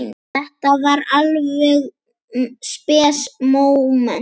Þetta var alveg spes móment.